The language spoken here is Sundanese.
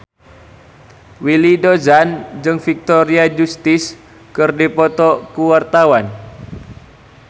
Willy Dozan jeung Victoria Justice keur dipoto ku wartawan